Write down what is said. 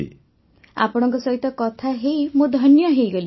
ବର୍ଷାବେନ୍ ଆପଣଙ୍କ ସହିତ କଥା ହେଇ ମୁଁ ଧନ୍ୟ ହେଇଗଲି